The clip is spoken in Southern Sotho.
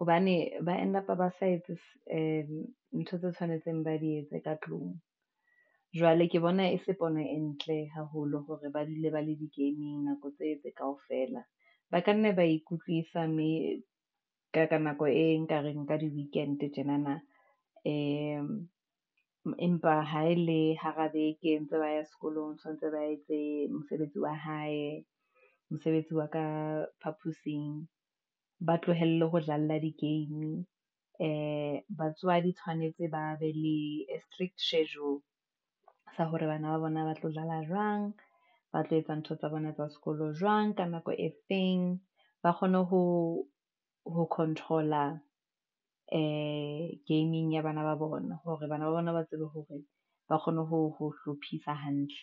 hobane ba end up sa etse ntho tse tshwanetseng ba di etse ka tlung. Jwale ke bona e se pono e ntle haholo hore ba dule ba le di-game-ing nako tse kaofela, ba ka nna ba ikutlwisa mme ka nako e nkareng ka di-weekend tjenana. Ee, empa ha e le hara beke entse ba ya sekolong tshwanetse ba etse mosebetsi wa hae, mosebetsi wa ka phaposing, ba tlohelle ho dlalla di-game. Ee, batswadi tshwanetse ba be lea strict schedule, sa hore bana ba bona ba tlo jala jwang, ba tlo etsa ntho tsa bona tsa sekolo jwang, ka nako e feng, ba kgone ho control-a ee game-ing ya bana ba bona, hore bana ba bona ba tsebe hore, ba kgone ho hlophisa hantle.